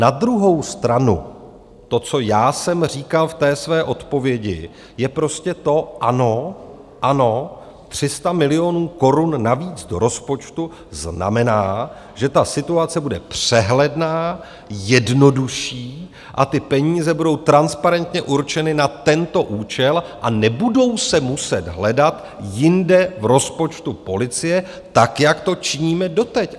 Na druhou stranu to, co já jsem říkal v té své odpovědi, je prostě to ano, ano, 300 milionů korun navíc do rozpočtu znamená, že ta situace bude přehledná, jednodušší a ty peníze budou transparentně určeny na tento účel a nebudou se muset hledat jinde v rozpočtu policie tak, jak to činíme doteď.